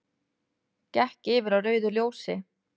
Gekk yfir á rauðu ljósi